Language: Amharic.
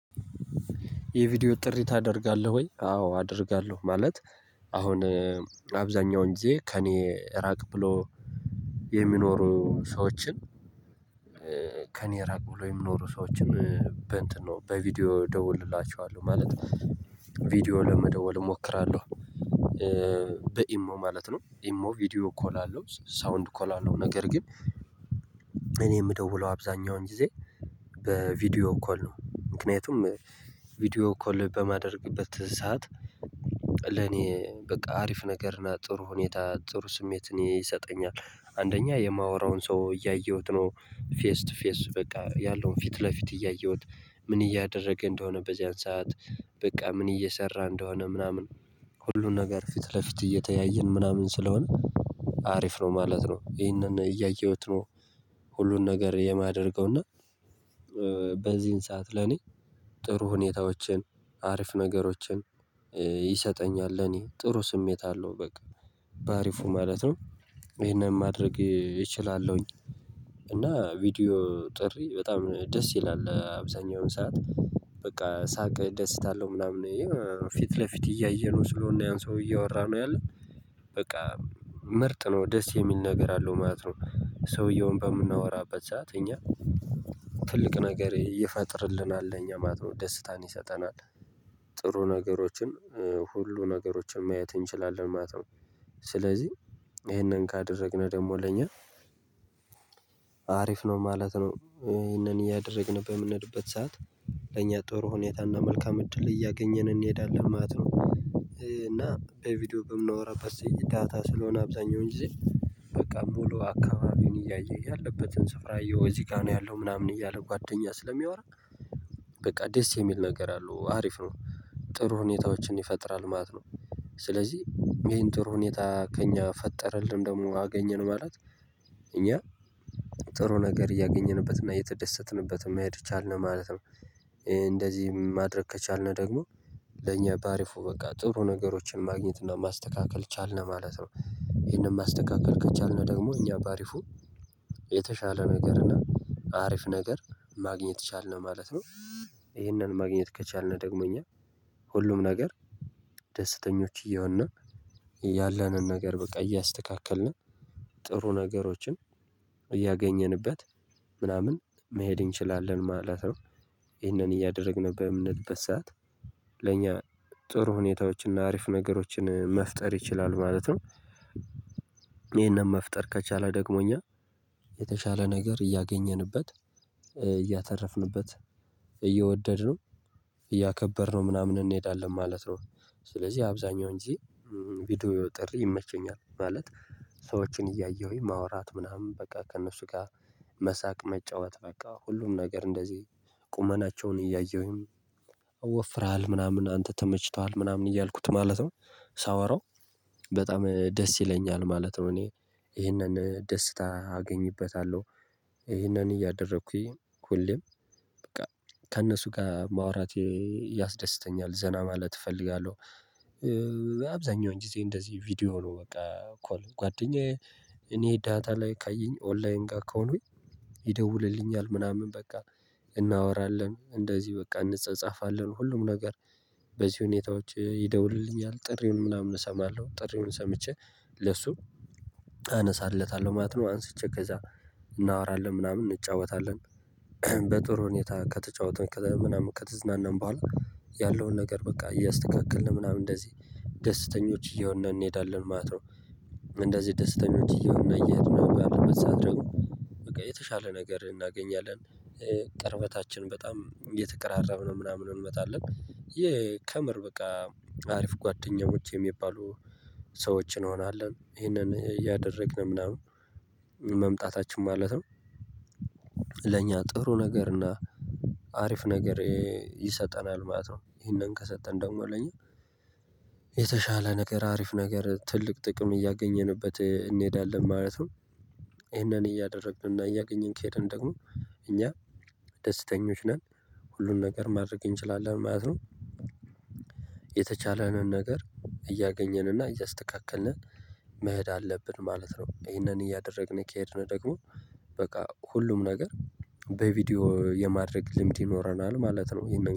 የቪዲዮ ጥሪ ታደርጋለህ ወይ? አዎ አደርጋለሁ። ማለት አሁን አብዛኛውን ጊዜ ከእኔ ራቅ ብሎ የሚኖሩ ሰዎችን። ከእኔ ራቅ ብሎ የሚኖሩ ሰዎችን በእንትን ነው በቪዲዮ ደውልላችኋለሁ ማለት ነው። ቪዲዮ ለመደወል እሞክራለሁ። በኢሞ ማለት ነው ኢሞ ቪዲዮ ኮል አለው ሳውንድ ኮል አለው ነገር ግን እኔ የምደውለው አብዛኛውን ጊዜ። በቪዲዮ ኮል ነው ምክንያቱም ቪዲዮ ኮል በማደርግበት ሰዓት። ለኔ በቃ አሪፍ ነገር ና ጥሩ ሁኔታ ጥሩ ስሜት እኔ ይሰጠኛል አንደኛ የማወራውን ሰው እያየሁት ነው ፌስ ቱ ፌስ በቃ ያለውን ፊት ለፊት እያየሁት። ምን እያደረገ እንደሆነ በዚያን ሰዓት በቃ ምን እየሰራ እንደሆነ ምናምን። ሁሉን ነገር ፊት ለፊት እየተያየን ምናምን ስለሆነ አሪፍ ነው ማለት ነው ይሄንን እያየሁት ነው። ሁሉን ነገር የማደርገው እና በዚህን ሰዓት ለኔ ጥሩ ሁኔታዎችን አሪፍ ነገሮችን ይሰጠኛል ለኔ ጥሩ ስሜት አለው። በቃ በአሪፉ ማለት ነው። ይሄንን ማድረግ እችላለሁኝ። እና ቪዲዮ ጥሪ በጣም ደስ ይላል አብዛኛውን ሰዓት በቃ ሳቅ ደስታ አለው ምናምን። ፊት ለፊት እያየነው ስለሆነ ያን ሰውዬ እያወራን ነው ያለን። በቃ ምርጥ ነው ደስ የሚል ነገር አለው ማለት ነው። ሰውዬውን በምናወራበት ሰዓት እኛ ትልቅ ነገር ይፈጠርልናል ለኛ ማለት ነው ደስታን ይሰጠናል። ጥሩ ነገሮችን ሁሉ ነገሮችን ማየት እንችላለን ማለት ነው። ስለዚህ ይሄንን ካደረግነው ደግሞ ለኛ አሪፍ ነው ማለት ነው። ይሄንን እያደረግን በምንሄድበት ሰዓት ለእኛ ጥሩ ሁኔታና መልካም እድል እያገኘን እንሄዳለን ማለት ነው። እና በቪዲዮ በምንወራበት የዳታ ስለሆነ አብዛኛው ጊዜ በቃ ሙሉ አካባቢን እያየ ያለበትን ስፍራ እየው እዚህ ጋር ነው ያለው ምናምን እያለ ጓደኛ ስለሚያወራ። በቃ ደስ የሚል ነገር አለው አሪፍ ነው። ጥሩ ሁኔታዎችን ይፈጥራል ማለት ነው። ስለዚህ ይሄን ጥሩ ሁኔታ ከእኛ ፈጠረልን ደግሞ አገኘን ማለት እኛ ጥሩ ነገር እያገኘንበት እና እየተደሰትንበት መሄድ ቻልን ማለት ነው። እንደዚህ ማድረግ ከቻልን ደግሞ ለእኛ በአሪፉ በቃ ጥሩ ነገሮችን ማግኘት እና ማስተካከል ቻልነ ማለት ነው። ይሄንን ማስተካከል ከቻልነው ደግሞ እኛ በአሪፉ ነገር እና አሪፍ ነገር ማግኘት ቻልን ማለት ነው። ይሄንን ማግኘት ከቻልን ደግሞ እኛ ሁሉም ነገር ደስተኞች እየሆንና ያለንን ነገር በቃ እያስተካከልን ጥሩ ነገሮችን እያገኘንበት ምናምን መሄድ እንችላለን ማለት ነው። ይህንን እያደረግን በምንሄድበት ሰዓት ለእኛ ጥሩ ሁኔታዎችን እና አሪፍ ነገሮችን መፍጠር ይችላል ማለት ነው። ይሄንን መፍጠር ከቻለ ደግሞ እኛ የተሻለ ነገር እያገኘንበት እያተረፍንበት እየወደድነው እያከበርነው ምናምን እንሄዳለን ማለት ነው። ስለዚህ አብዛኛው ጊዜ ቪዲዮ ጥሪ ይመቸኛል ማለት ሰዎችን እያየሁኝ ማውራት ምናምን በቃ ከእነሱ ጋር መሳቅ መጫወት በቃ ሁሉም ነገር እንደዚህ ቁመናቸውን እያየሁኝ ወፍረሀል ምናምን አንተ ተመችቶሀል ምናምን እያልኩት ማለት ነው። ሳወራው በጣም ደስ ይለኛል ማለት ነው። እኔ ይሄንን ደስታ አገኝበታለሁ። ይሄንን እያደረኩኝ ሁሌም በቃ ከእነሱ ጋር ማውራት ያስደስተኛል ዘና ማለት እፈልጋለሁ። አብዛኛውን ጊዜ እንደዚህ ቪዲዮ ነው በቃ ኮል ጓደኛዬ እኔ ዳታ ላይ ካየኝ ኦንላይን ጋር ከሆኑኝ። ይደውልልኛል ምናምን በቃ እናወራለን እንደዚህ በቃ እንጻጻፋለን ሁሉም ነገር በዚህ ሁኔታዎች ይደውልልኛል ጥሪውን ምናምን እሰማለሁ ጥሪውን ሰምቼ ለሱ አነሳለታለሁ ማለት ነው አንስቼ ከዛ እናወራለን ምናምን እንጫወታለን። በጥሩ ሁኔታ ከተጫወተን ከዛ ምናምን ከተዝናናም በኋላ ያለውን ነገር በቃ እያስተካከልን ምናምን እንደዚህ ደስተኞች እየሆነ እንሄዳለን ማለት ነው። እንደዚህ ደስተኞች እየሆነ እየሄድነ ባለበት ሰዓት ደግሞ በቃ የተሻለ ነገር እናገኛለን። ቅርበታችን በጣም እየተቀራረብን ነው ምናምን እንመጣለን የከምር በቃ አሪፍ ጓደኛሞች የሚባሉ ሰዎችን እንሆናለን ይሄንን እያደረግን ምናምን መምጣታችን ማለት ነው። ለእኛ ጥሩ ነገር እና አሪፍ ነገር ይሰጠናል ማለት ነው ይሄንን ከሰጠን ደግሞ ለኛ የተሻለ ነገር አሪፍ ነገር ትልቅ ጥቅም እያገኘንበት እንሄዳለን ማለት ነው። ይሄንን እያደረግን እና እያገኘን ከሄድን ደግሞ እኛ ደስተኞች ነን ሁሉን ነገር ማድረግ እንችላለን ማለት ነው። የተቻለንን ነገር እያገኘንና እያስተካከልን መሄድ አለብን ማለት ነው። ይሄንን እያደረግን ከሄድነ ደግሞ በቃ ሁሉም ነገር በቪዲዮ የማድረግ ልምድ ይኖረናል ማለት ነው።